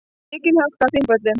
Mikil hálka á Þingvöllum